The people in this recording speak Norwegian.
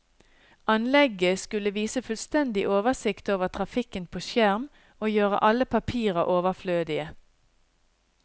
Anlegget skulle vise fullstendig oversikt over trafikken på skjerm, og gjøre alle papirer overflødige.